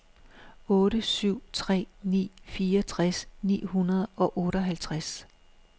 otte syv tre ni fireogtres ni hundrede og otteoghalvtreds